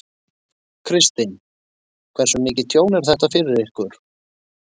Kristinn: Hversu mikið tjón er þetta fyrir ykkur?